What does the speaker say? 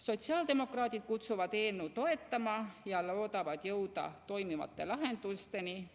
Sotsiaaldemokraadid kutsuvad eelnõu toetama ja loodavad jõuda toimivate lahendusteni.